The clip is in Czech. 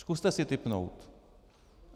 Zkuste si tipnout.